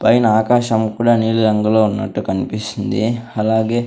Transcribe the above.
పైన ఆకాశం కూడా నీలిరంగులో ఉన్నట్టు కనిపిస్తూ ఉంది అలాగే--